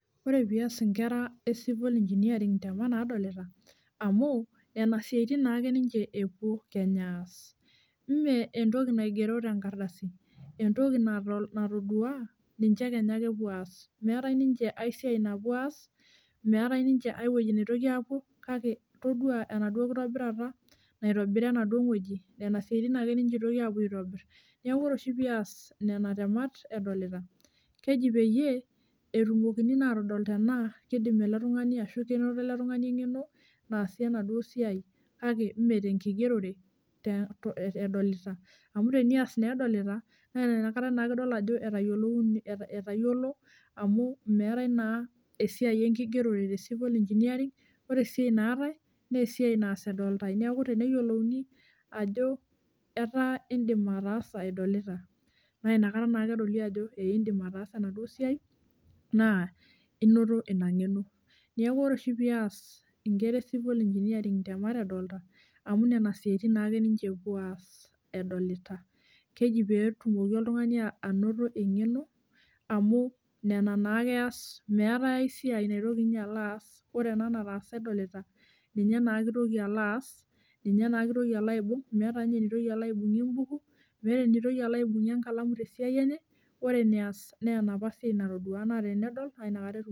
Ore peas inkera e civil engineering intemat naadolita amu nena siatin naake ninje epuo kenya aas. Meentoki naigero tenkardasi, entoki natodua ninje kenya ake epuo aas . Meeta ninje aisiai napuo aas, meeta ninje aiwoji naitoki ninje aapuo, kake todua enaduo kitobira naitobira enaduo woji, siatin ake eitoki ninje apuo aitobir. Neeku ore pias nena temat edolita keji peyie etumokini naa atodol kidim ashu kenoto ela tungani enkeno naasie enaduo siai kake meetenkigerore edolita, amu tenias naa edolita naa nakata naake idol ajo etayiolo amu meeta naa esiai enkigerore te civil engineering ore esiai naatai naa esiai naas edoltai neeku teneyiolouni ajo etaa iidim ataasa edolita naa nakata edoli ajo ee iidim ataasa enaduo siai, naa inoto ina nkeno, neeku ore pias inkera e civil engineering edolita amu nena siatin naake epuo ninje apuo aas edolita keji peetumoki oltungani anoto enkeno amu nena naake eas meeta aisiai naitoki ninye alo aas, ore ena naata edolita ninye naake eitoki alo aas, ninye naake eitoki alo aibung' meeta ninye enitoki alo aibungie embuk, meetai enitoki alo aibungie elankalamu te siai enye, ore eneas naa enapa siai natodua naa tenedol naa nakata etumoki ataasa.